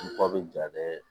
Ba bɛ ja dɛ